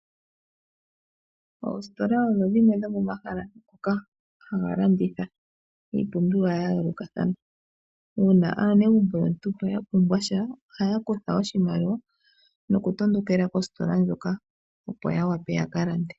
Oositola odho dhimwe dhomomahala ngoka haga landitha iipumbiwa ya yooloka. Uuna aanegumbo yontumba ya pumbwa sha ohaya kutha oshimaliwa nokutondokela koositola hoka, opo ya wape ya ka lande.